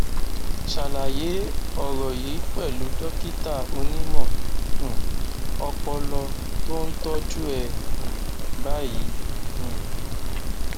ṣàlàyé ọrọ yìí pẹlú dókítà onímọ um ọpọlọ tó ń tọjú ẹ um báyìí um